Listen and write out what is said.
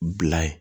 Bila ye